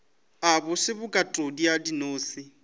a bose bokatodi ya dinose